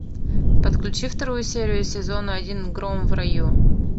подключи вторую серию сезона один гром в раю